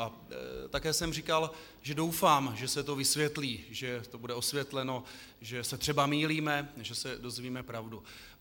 A také jsem říkal, že doufám, že se to vysvětlí, že to bude osvětleno, že se třeba mýlíme, že se dozvíme pravdu.